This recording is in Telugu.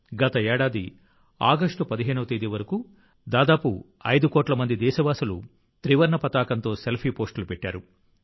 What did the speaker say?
గత ఏడాది ఆగస్టు 15వ తేదీ వరకు దాదాపు 5 కోట్ల మంది దేశస్థులు త్రివర్ణ పతాకంతో సెల్ఫీ పోస్ట్లు పెట్టారు